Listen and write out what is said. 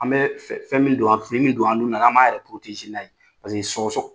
An bɛ fɛ fɛn min don, fini min don an nun na, k'an m'an yɛrɛ n'a ye paseke sɔgɔsɔgɔ